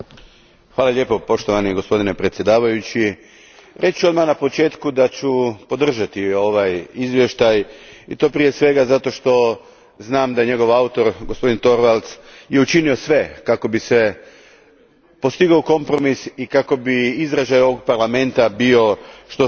Gospodine predsjedniče, reći ću odmah na početku da ću podržati ovaj izvještaj i to prije svega zato što znam da je njegov autor, gospodin Torvalds, učinio sve kako bi se postigao kompromis i kako bi izražaj ovog Parlamenta bio što snažniji i što jači.